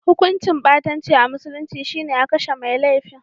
Hukuncin ɓatanci a musulunci shi ne a kashe mai laifin.